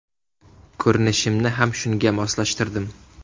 Ko‘rinishimni ham shunga moslashtirdim.